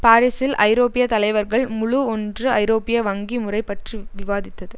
பாரிஸில் ஐரோப்பிய தலைவர்கள் முழு ஒன்று ஐரோப்பிய வங்கி முறை பற்றி விவாதித்தது